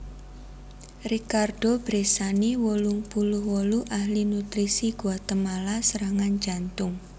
Ricardo Bressani wolung puluh wolu ahli nutrisi Guatemala serangan jantung